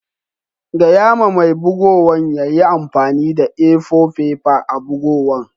Gaya ma mai bugowan ya yi amfani da A-four fefa a'bugowan.